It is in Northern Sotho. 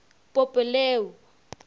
pope leo